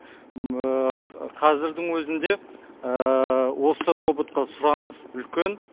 қазірдің өзінде осы роботқа сұраныс үлкен